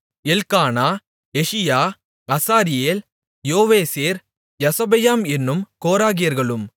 Elkanah Jesiah Azareel Joezer Jashobeam என்னும் கோராகியர்களும்